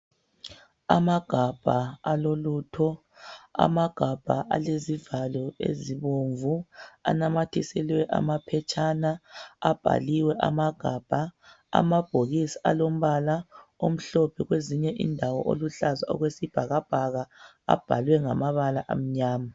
Amagabha alolutho amagabha alezivalo ezibomvu anamathiselwe amaphetshana abhaliwe amagabha, amabhokisi alombala omhlophe kwezinye indawe oluhlaza okwesibhakabhaka abhalwe ngamabala amnyama.